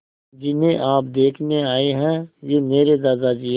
जिन्हें आप देखने आए हैं वे मेरे दादाजी हैं